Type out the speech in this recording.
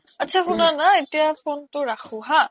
আত্চা শুনানা এতিয়া phone তো ৰাখো হা